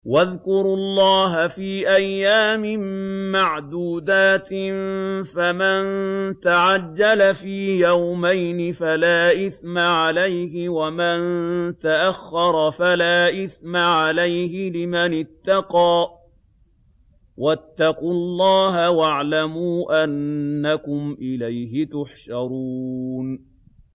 ۞ وَاذْكُرُوا اللَّهَ فِي أَيَّامٍ مَّعْدُودَاتٍ ۚ فَمَن تَعَجَّلَ فِي يَوْمَيْنِ فَلَا إِثْمَ عَلَيْهِ وَمَن تَأَخَّرَ فَلَا إِثْمَ عَلَيْهِ ۚ لِمَنِ اتَّقَىٰ ۗ وَاتَّقُوا اللَّهَ وَاعْلَمُوا أَنَّكُمْ إِلَيْهِ تُحْشَرُونَ